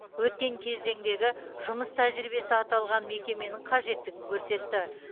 өткен кезеңдегі жұмыс тәжірибесі аталған мекеменің қажеттігін көрсетті